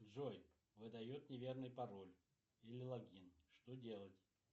джой выдает неверный пароль или логин что делать